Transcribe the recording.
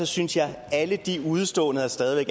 synes jeg at alle de udeståender der stadig